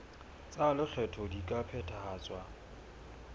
tsa lekgetho di ka phethahatswa